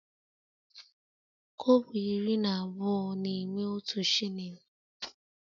Kobo iri na abụọ na-eme otu shilling